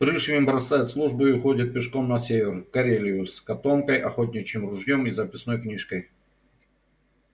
пришвин бросает службу и уходит пешком на север в карелию с котомкой охотничьим ружьём и записной книжкой